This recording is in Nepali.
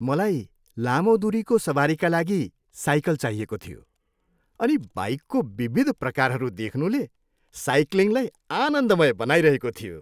मलाई लामो दुरीको सवारीका लागि साइकल चाहिएको थियो अनि बाइकको विविध प्रकारहरू देख्नुले साइक्लिङलाई आनन्दमय बनाइरहेको थियो।